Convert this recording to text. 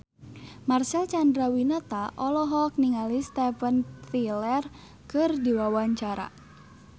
Marcel Chandrawinata olohok ningali Steven Tyler keur diwawancara